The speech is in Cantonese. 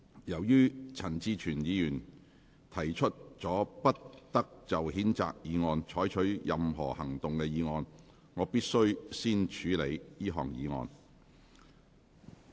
由於陳志全議員提出了不得就譴責議案再採取任何行動的議案，我必須先處理這項議案。